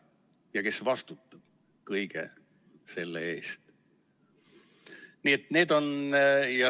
Ja kes vastutab kõige selle eest?